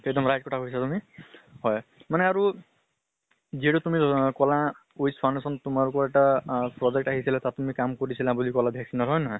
এক্দম right কথা কৈছে তুমি। যিহ্তু তুমি কলা উইচ foundation তোমালোকৰ এটা project আহিছিলে। তাত তুমি কাম কৰিছিলা বুলি কলা vaccine ৰ হয় নে নহয়?